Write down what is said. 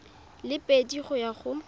le pedi go ya go